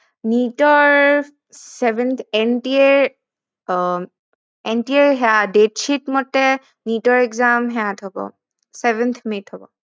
NEET ৰ seventh ৰ আহ NPA ৰ date shit মতে NEET ৰ exam ত হব seventh may হব